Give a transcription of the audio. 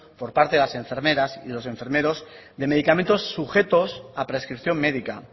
por parte de las enfermeras y los enfermeros de medicamentos sujetos a prescripción médica